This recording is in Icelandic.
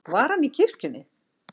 Var hann í kirkjunni?